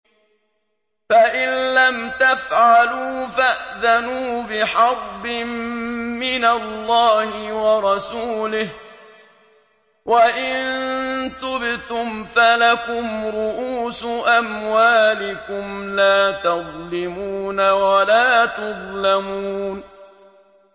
فَإِن لَّمْ تَفْعَلُوا فَأْذَنُوا بِحَرْبٍ مِّنَ اللَّهِ وَرَسُولِهِ ۖ وَإِن تُبْتُمْ فَلَكُمْ رُءُوسُ أَمْوَالِكُمْ لَا تَظْلِمُونَ وَلَا تُظْلَمُونَ